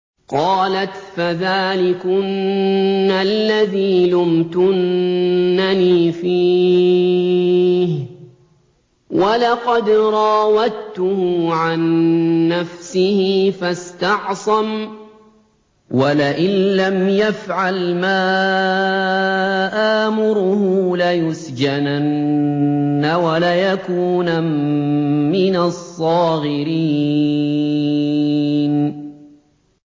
قَالَتْ فَذَٰلِكُنَّ الَّذِي لُمْتُنَّنِي فِيهِ ۖ وَلَقَدْ رَاوَدتُّهُ عَن نَّفْسِهِ فَاسْتَعْصَمَ ۖ وَلَئِن لَّمْ يَفْعَلْ مَا آمُرُهُ لَيُسْجَنَنَّ وَلَيَكُونًا مِّنَ الصَّاغِرِينَ